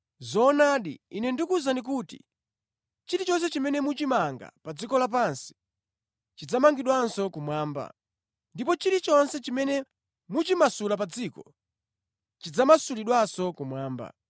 “Zoonadi, Ine ndikuwuzani kuti chilichonse chimene muchimanga pa dziko lapansi, chidzamangidwanso kumwamba, ndipo chilichonse chimene muchimasula pa dziko chidzamasulidwanso kumwamba.